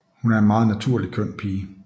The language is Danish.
Hun er en meget naturligt køn pige